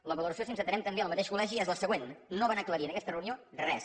la valoració si ens atenem també al mateix col·legi és la següent no van aclarir en aquesta reunió res